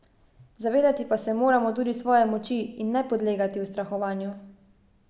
Zavedati se pa moramo tudi svoje moči in ne podlegati ustrahovanju.